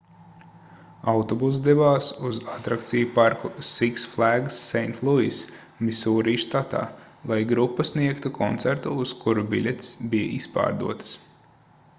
autobuss devās uz atrakciju parku six flags st louis misūri štatā lai grupa sniegtu koncertu uz kuru biļetes bija izpārdotas